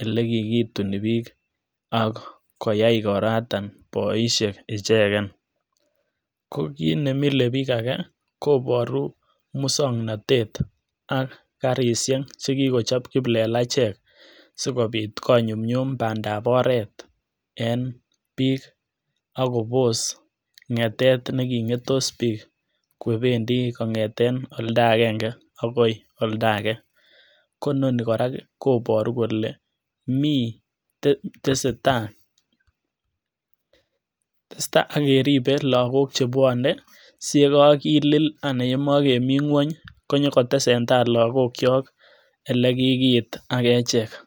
elekikituni bik ak koyaai igoratok boishek ichegen, ko kiit nemile biik agee koboruu muswoknotet ak karishek chekikochop kiplelachek sikopit konyumyum pandap oret en bik ak kobos ngetet nekingetos biik kopendii kongeten oldaa agenge akoi oldo agee ko inoni koraa koboru kole mii tesetai ak kerib lokok chebwone siyekokilil anan yemokemii ngwony konyokotesentai lokokyok ele kikiit ak echek.